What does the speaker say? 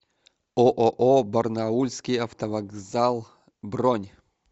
ооо барнаульский автовокзал бронь